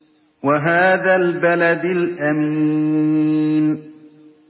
وَهَٰذَا الْبَلَدِ الْأَمِينِ